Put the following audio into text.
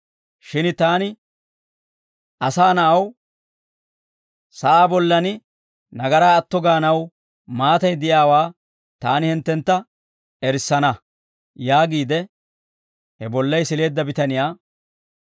Shin taani, Asaa Na'aw, sa'aa bollan nagaraa atto gaanaw maatay de'iyaawaa taani hinttentta erissana» yaagiide he bollay sileedda bitaniyaa,